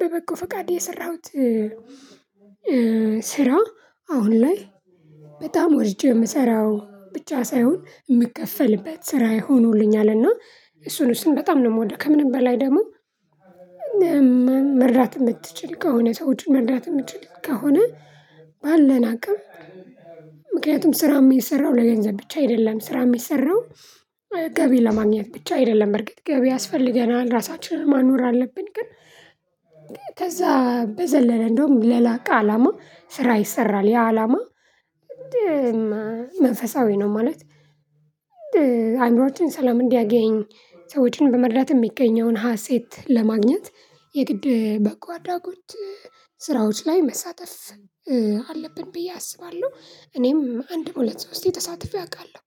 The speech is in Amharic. በበቁ ፈቃድ የሰራሁት። ስራ አሁን ላይ በጣም ወድጄ የምሰራው ብቻ ሳይሆን የምከፈልበት ስራ የሆኑልኝ አለና እሱን እሱን በጣም ነው የምወደው። ከምንም በላይ ደግሞ መርዳት የምትችል ከሆነ ሰዎችን መርዳት የምትችል ከሆነ ባለን አቅም። ምክንያቱም ስራውም የሰራው ለገንዘብ ብቻ አይደለም ስራ የሚሰራው ገቢ ለማግኘት ብቻ አይደለም። በርግጥ ገቢ ያስፈልገናል ራሳችንን ማኖር አለብን ግን ከዛ በዘለለ እንደውም ለላቀ አላማ ስራ ይሰራል ያ አላማ መንፈሳዊ ነው። ማለት አእምሮአችን ሰላም እንዲያገኝ ሰዎችን በመርዳት የሚገኘውን ሀሴት ለማግኘት የግድ በቃ አዳጎች ስራዎች ላይ መሳተፍ አለብን ብዬ አስባለሁ። እኔም አንድ ሁለት ሶስቴ ተሳትፌ አውቃለሁ